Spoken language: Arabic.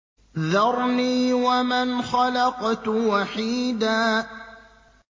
ذَرْنِي وَمَنْ خَلَقْتُ وَحِيدًا